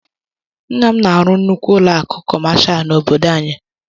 Nna m na-arụ nnukwu ụlọ akụ̀ kọmashal n’obodo anyị.